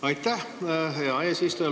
Aitäh, hea eesistuja!